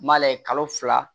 N m'a layɛ kalo fila